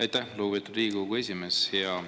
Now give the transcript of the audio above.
Aitäh, lugupeetud Riigikogu esimees!